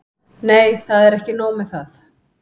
Nei, það er ekki nóg með það.